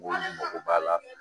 mago b'a la